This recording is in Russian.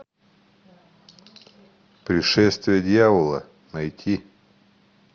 пришествие дьявола найти